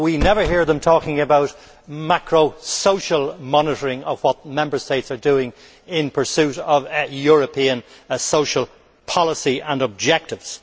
We never hear it talking about macro social monitoring of what Member States are doing in pursuit of European social policy and objectives.